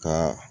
Ka